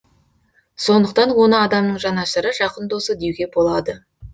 сондықтан оны адамның жанашыры жақын досы деуге болады